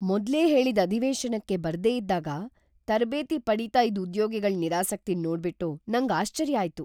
ಮೊದ್ಲೇ ಹೇಳಿದ್ ಅಧಿವೇಶನಕ್ಕೆ ಬರ್ದೇ ಇದ್ದಾಗ ತರ್ಬೇತಿ ಪಡೀತಾ ಇದ್ ಉದ್ಯೋಗಿಗಳ್ ನಿರಾಸಕ್ತಿನ್ ನೋಡ್ಬಿಟ್ಟು ನಂಗ್ ಆಶ್ಚರ್ಯ ಆಯ್ತು.